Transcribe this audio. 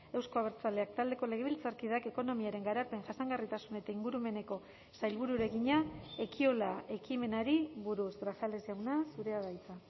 euzko abertzaleak taldeko legebiltzarkideak ekonomiaren garapen jasangarritasun eta ingurumeneko sailburuari egina ekiola ekimenari buruz grajales jauna zurea da hitza